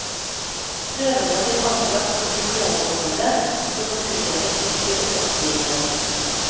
Prøvene blir anbragt i spesialbeholdere som får utjevnet trykket under oppstigningen.